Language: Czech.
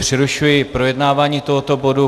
Přerušuji projednávání tohoto bodu.